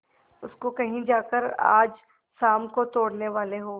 उसको कहीं जाकर आज शाम को तोड़ने वाले हों